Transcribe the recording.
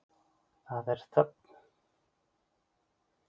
Það er þögn.